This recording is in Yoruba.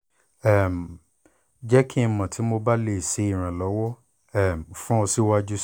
um jẹ ki n mọ ti mo ba le ṣe iranlọwọ um fun ọ siwaju sii